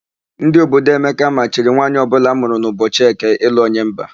Ndị obodo Emeka machiri nwaanyị ọbụla amụrụ n'ụbọchị Eke ịlụ onye mba.